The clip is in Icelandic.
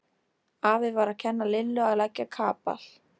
Afi var að kenna Lillu að leggja kapal.